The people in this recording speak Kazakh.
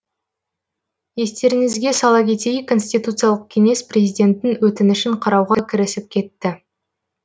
естеріңізге сала кетейік конституциялық кеңес президенттің өтінішін қарауға кірісіп кетті